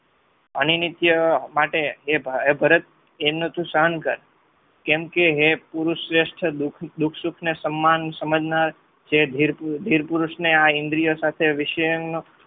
અનીનિત્ય માટે ભરત એમનું તું સહન કર કેમ કે હે પુરુષસ્વથ્ય દુઃખ સુખને સમ્માન સમજનાર જે ધીરપુરુષને આ ઇન્દ્રિય સાથે